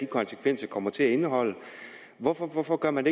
konsekvenserne kommer til at indeholde hvorfor hvorfor gør man